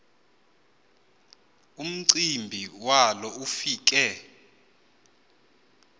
umcimbi walo ufike